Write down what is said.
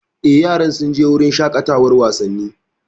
Eh, yaran sun je wurin shaƙatawan wasanni